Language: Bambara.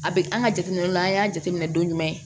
A bɛ an ka jateminɛw la an y'a jateminɛ don jumɛn